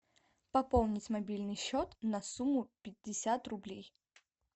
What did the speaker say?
пополнить мобильный счет на сумму пятьдесят рублей